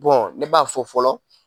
Bɔn ne b'a fɔ fɔlɔ